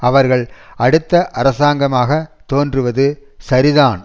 அவர்கள் அடுத்த அரசாங்கமாக தோன்றுவது சரிதான்